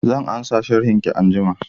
Zan ansa sharhin ki anjima